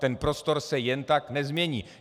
Ten prostor se jen tak nezmění.